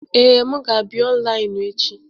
Ee, m ga-abịa ọnlaịnụ echi.